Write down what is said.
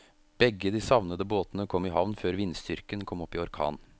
Begge de savnede båtene kom i havn før vindstyrken kom opp i orkan.